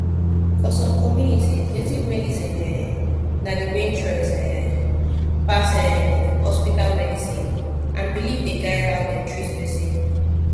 for some communities native medicine um na the main choice um pass um hospital medicine and belief dey guide how dem treat person